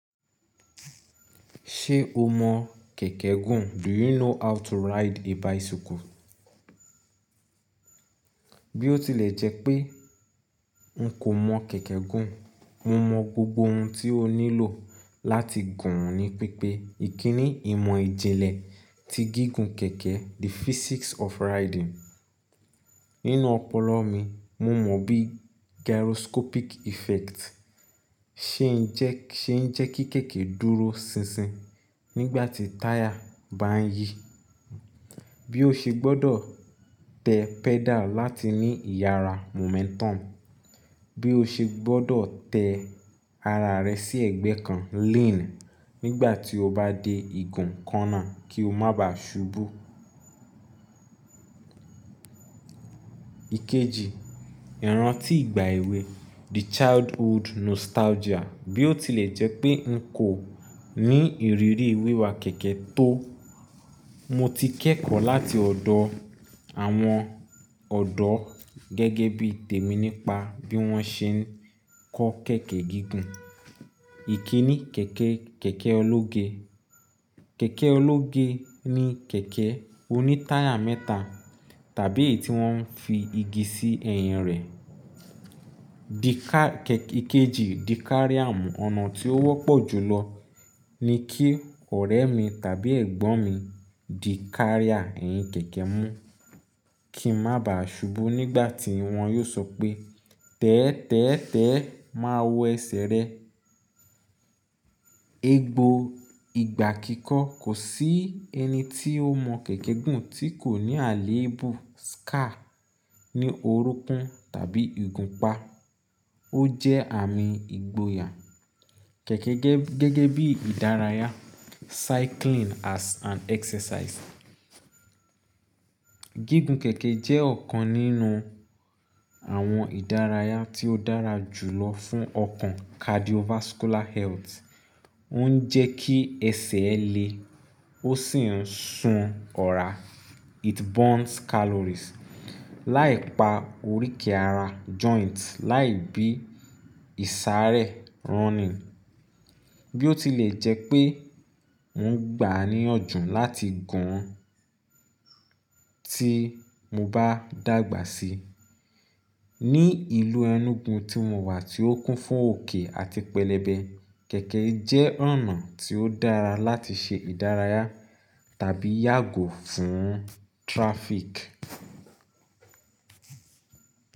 Ṣe o mọ kẹ̀kẹ́ gùn? Do you know how to ride a bicycle? Bí ó tilẹ̀ jẹ́ pé n kò mọ kẹ̀kẹ́ gùn, mo mọ gbogbo ohun tí ó nílò láti gùn ún ni pípé. Ìkíni ìmọ̀ ìjìnlẹ̀ ti gígùn kẹ̀kẹ́, the physics of riding. Nínú ọpọlọ mi, mo mọ bí gyroscopic effect ṣe ń jẹ́ kí kẹ̀kẹ́ dúró sinsin nígbà tí táyà bá ń yí. Bí ó ṣe gbọ́dọ̀ tẹ pedal láti ní ìyára momentum. Bí ó ṣe gbọ́dọ̀ tẹ ara rẹ sí ẹ̀gbẹ́ kan lean nígbà tí o bá dé igun corner kí o má ba subú. Ikeji, ìrántí ìgbà èwe, the childhood nostalgia. Bí ó tilẹ̀ jẹ́ pé n kò ní ìrírí wíwa kẹ̀kẹ́ tó, mo ti kẹ́kọ̀ọ́ láti ọ̀dọ̀ àwọn ọ̀dọ́ gẹ́gẹ́ bí tèmi nípa bí wọ́n ṣe ń kó kẹ̀kẹ́ gígùn. Ìkíni kẹ̀kẹ́, kẹ̀kẹ́ ológe. Kẹ̀kẹ́ ológe ni kẹ̀kẹ́ oní táyà mẹ́ta tàbí èyí tí wọ́n fi igi sí ẹyin rẹ̀. Ikeji, di carrier. Ọ̀nà tí ó wọ́pọ̀ jùlọ ni kí ọ̀rẹ́ mi tàbí ẹ̀gbọ́n mi di carrier ẹyin kẹ̀kẹ́ mú kí n má ba subú nígbà tí wọ́n yóò sọ pé "tẹ́ẹ́tẹ́ẹ́tẹ́ ẹ máa wọ ẹsẹ̀ rẹ". Egbo ìgbà kíkọ́, kò sí ẹni tí ó mọ kẹ̀kẹ́ gùn tí kò ní àléébù scar ní orúnkún tàbí ìgúnpá. Ó jẹ́ àmì ìgboyà. Kẹ̀kẹ́ gẹ́gẹ́ bí ìdárayá, cycling as an exercise. Gígùn kẹ̀kẹ́ jẹ́ ọ̀kan nínú àwọn ìdárayá tí ó dára jùlọ fún ọkàn cardiovascular health. Ó ń jẹ́ kí ẹsẹ̀ ẹ le, ó sì ń sun ọ̀rá, it burns calories, láì pa oríkì ara joints láì bí ìsàaré running. Bí ó tilẹ̀ jẹ́ pé n gbà níyànjú láti gùn ún tí mo bá dàgbà síi. Ní ìlú Enugu tí mo wà tí ó kún fún òkè àti pẹlẹbẹ, kẹ̀kẹ́ jẹ́ ọ̀nà tí ó dára láti ṣe ìdárayá tàbí yàgò fún traffic.